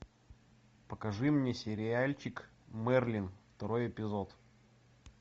покажи мне сериальчик мерлин второй эпизод